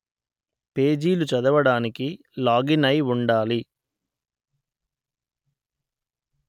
పేజీలు చదవడానికి లాగిన్‌ అయి ఉండాలి